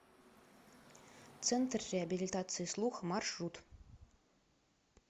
центр реабилитации слуха маршрут